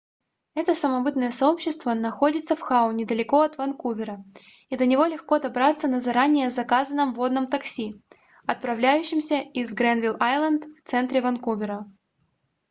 это самобытное сообщество находится в хау недалеко от ванкувера и до него легко добраться на заранее заказанном водном такси отправляющемся из грэнвилл-айленд в центре ванкувера